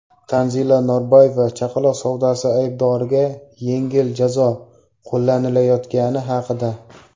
Tanzila Norboyeva chaqaloq savdosi aybdorlariga yengil jazo qo‘llanilayotgani haqida.